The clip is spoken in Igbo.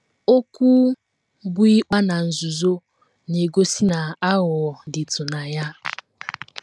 Okwu bụ́ ‘ ịkpa na nzuzo ’ na - egosi na aghụghọ dịtụ na ya.